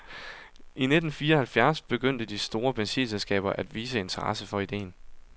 I nitten fireoghalvfjerds begyndte de store benzinselskaber at vise interesse for ideen.